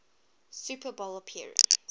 super bowl appearance